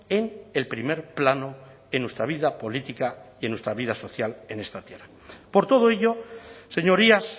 en el primer plano en nuestra vida política y en nuestra vida social en esta tierra por todo ello señorías